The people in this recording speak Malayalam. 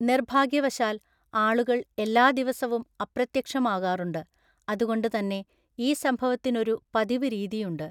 നിർഭാഗ്യവശാൽ, ആളുകൾ എല്ലാ ദിവസവും അപ്രത്യക്ഷമാകാറുണ്ട്, അതുകൊണ്ട് തന്നെ ഈ സംഭവത്തിനൊരു പതിവ് രീതിയുണ്ട്.